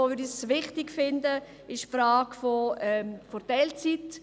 Der zweite wichtige Punkt ist die Frage der Teilzeitarbeit.